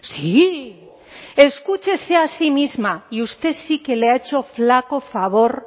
sí escúchese a sí misma y usted sí que le ha hecho flaco favor